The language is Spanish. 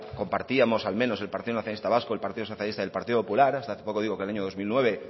compartíamos al menos el partido nacionalista vasco el partido socialista y el partido popular hasta hace poco digo que el año dos mil nueve